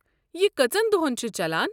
یہِ کٔژَن دۄہَن چھُ چلان؟